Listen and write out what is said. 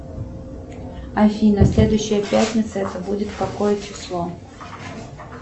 афина следующая пятница это будет какое число